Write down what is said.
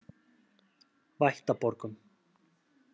Vættaborgum